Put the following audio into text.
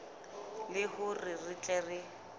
le hore re tle re